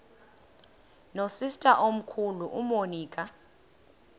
nosister omkhulu umonica